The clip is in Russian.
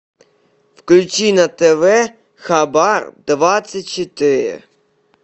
включи на тв хабар двадцать четыре